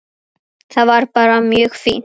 Það er bara mjög fínt.